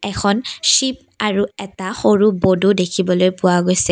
এখন শ্বিপ আৰু এটা সৰু বডো দেখিবলৈ পোৱা গৈছে।